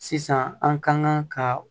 Sisan an ka kan ka